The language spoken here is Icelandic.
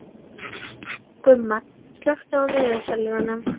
Gumma, slökktu á niðurteljaranum.